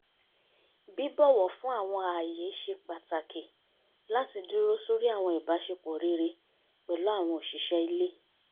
bíbọ̀wọ̀ fún àwọn ààyè ṣe pàtàkì láti dúró sóri àwọn ìbáṣepọ̀ rere pẹ̀lú àwọn òṣìṣẹ́ ilé